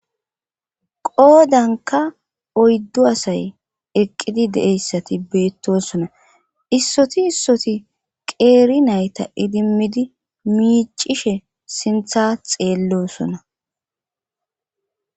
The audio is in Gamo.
qoodanka oyddu asay eqqidi de7eyssati beettosona issoti issoti qeeri nayta idimmidi miicishe sintha xeellosona